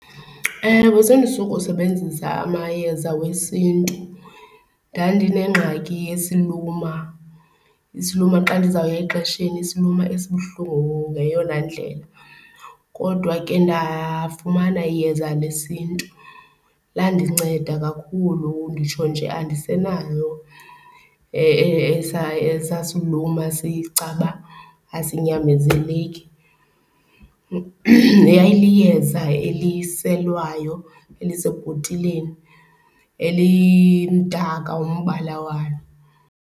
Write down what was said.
Ewe, sendisuka usebenzisa amayeza wesiNtu. Ndandinengxaki yesiluma, isiluma xa ndizawuya exesheni isiluma esibuhlungu ngeyona ndlela kodwa ke ndafumana iyeza lesiNtu. Landinceda kakhulu nditsho nje andisenayo esasiluma sicaba asinyamezeleki. Yayiliyeza eliselwayo elisebhotileni, elimdaka umbala walo.